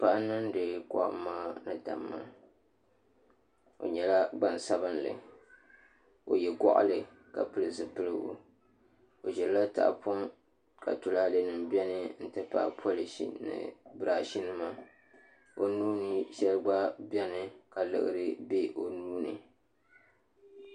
Paɣa n niŋdi kohamma ni damma o nyɛla gbaŋsabinli o yɛ goɣali ka pili zipiligu o ʒirila tahapoʋ ka tulaalɛ nim biɛni n ti pahi polish birash nima o nuuni shɛli gba biɛni ka liɣiri bɛ o nuuni